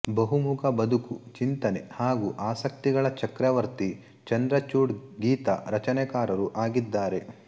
ಬಹುಮುಖ ಬದುಕು ಚಿಂತನೆ ಹಾಗೂ ಆಸಕ್ತಿಗಳ ಚಕ್ರವರ್ತಿ ಚಂದ್ರಚೂಡ್ ಗೀತ ರಚನೆಕಾರರೂ ಆಗಿದ್ದಾರೆ